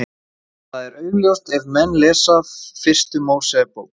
Það er augljóst ef menn lesa fyrstu Mósebók.